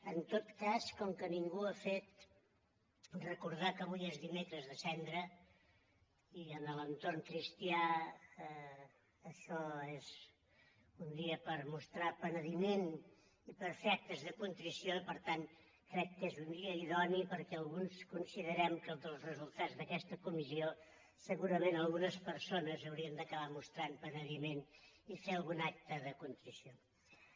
en tot cas com que ningú ho ha fet recordar que avui és dimecres de cendra i en l’entorn cristià això és un dia per mostrar penediment i per fer actes de contrició i per tant crec que és un dia idoni perquè alguns considerem que dels resultats d’aquesta comissió segurament algunes persones haurien d’acabar mostrant penediment i fer algun acte de contrició